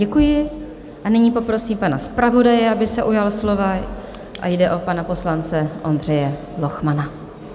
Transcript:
Děkuji a nyní poprosím pana zpravodaje, aby se ujal slova, a jde o pana poslance Ondřeje Lochmana.